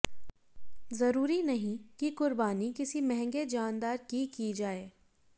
जरूरी नहीं कि कुर्बानी किसी महँगे जानदार की की जाए